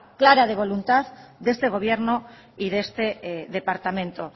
clara de voluntad de este gobierno y de este departamento